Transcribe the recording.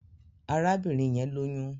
Arábìnrin yẹn lóyún